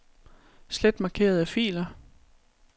Slet markerede filer.